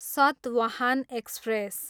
Satavahana express